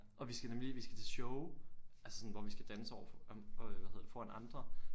Og vi skal nemlig vi skal til show altså sådan hvor vi skal danse overfor øh hvad hedder det foran andre